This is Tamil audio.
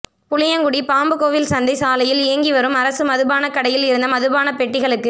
புளியங்குடி பாம்புக்கோவில்சந்தை சாலையில் இயங்கி வரும் அரசு மது பானக்கடையில் இருந்த மதுபான பெட்டிகளுக்கு